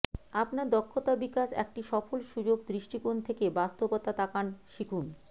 আপনার দক্ষতা বিকাশ একটি সফল সুযোগ দৃষ্টিকোণ থেকে বাস্তবতা তাকান শিখুন